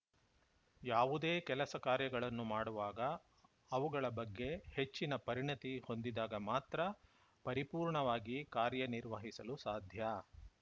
ಯಾವುದೇ ಕೆಲಸ ಕಾರ್ಯಗಳನ್ನು ಮಾಡುವಾಗ ಅವುಗಳ ಬಗ್ಗೆ ಹೆಚ್ಚಿನ ಪರಿಣತಿ ಹೊಂದಿದಾಗ ಮಾತ್ರ ಪರಿಪೂರ್ಣವಾಗಿ ಕಾರ್ಯ ನಿರ್ವಹಿಸಲು ಸಾಧ್ಯ